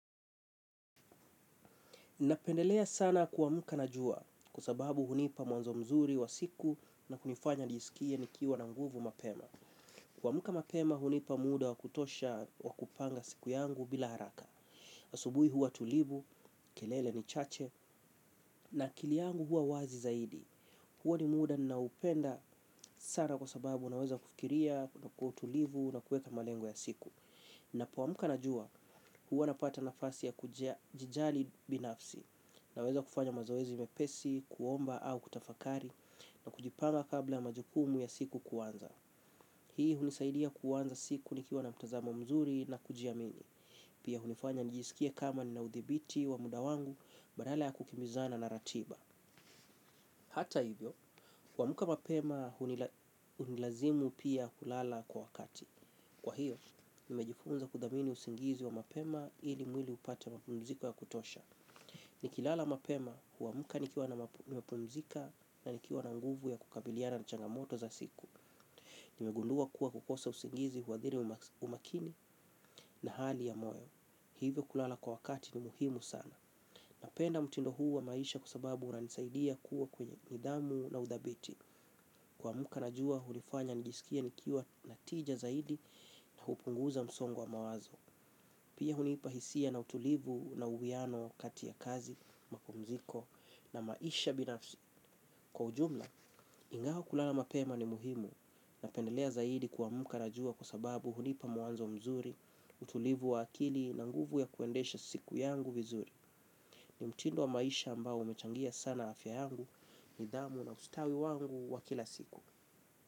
Napendelea sana kwamuka na jua kuasababu hunipa mwanzo mzuri wa siku na kunifanya nijisikie nikiwa na nguvu mapema. Kwa muka mapema hunipa muda wa kutosha wa kupanga siku yangu bila haraka. Asubui huwa tulivu, kelele ni chache na akili yangu huwa wazi zaidi. Huwa ni muda naupenda sana kuasababu naweza kufikiria na kuwa utulivu na kueka malengo ya siku. Napo wamuka najua huwa napata nafasi ya kujia jijali binafsi naweza kufanya mazoezi mepesi, kuomba au kutafakari na kujipanga kabla majukumu ya siku kuanza. Hii hunisaidia kuanza siku nikiwa na mtazamo mzuri na kujia mini. Pia hunifanya nijisikie kama ninaudhibiti wa mudawangu badala ya kukimbizana na ratiba. Hata hivyo, huamuka mapema hunilazimu pia kulala kwa wakati. Kwa hiyo, nimejifunza kudamini usingizi wa mapema ili mwili upate mapunziko ya kutosha. Nikilala mapema huamuka nikiwa na mapunzika na nikiwa na nguvu ya kukabiliana na changamoto za siku. Nimegundua kuwa kukosa usingizi huwadhiri umakini na hali ya moyo. Hivyo kulala kwa wakati ni muhimu sana. Napenda mtindo hu wa maisha kua sababu unani saidia kuwa kwenye nidamu na udhabiti. Kwamuka na juwa, hulifanya nijisikie nikiwa natija zaidi na hupunguza msongo wa mawazo. Pia hunipahisia na utulivu na uwiano kati ya kazi, mapumziko na maisha binafsi. Kwa ujumla, ingao kulala mapema ni muhimu. Napendelea zaidi kwa muka na juwa kusababu hunipa muanzo mzuri, utulivu wa akili na nguvu ya kuendesha siku yangu vizuri. Ni mtindo wa maisha ambao umechangia sana afya yangu, nidhamu na ustawi wangu wa kila siku.